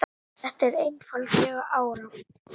Þetta er einfaldlega alrangt.